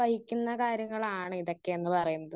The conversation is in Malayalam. സ്പീക്കർ 1 വഹിക്കുന്ന കാര്യങ്ങളാണ് ഇതൊക്കെന്ന് പറയുന്നത്.